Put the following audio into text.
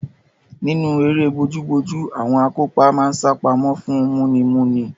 Nínú eré bojúbojú, àwọn akópa máa ń sápamọ́ fún múnimúni.